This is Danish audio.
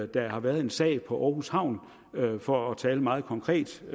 der har været en sag på aarhus havn for at tale meget konkret